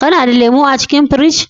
Kana da lemu a cikin firiji?